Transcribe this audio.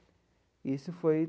E isso foi.